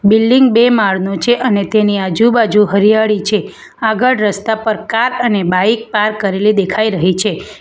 Building બે માળનું છે અને તેની આજુબાજુ હરિયાળી છે આગળ રસ્તા પર કાર અને બાઈક પાર્ક કરેલી દેખાઈ રહી છે.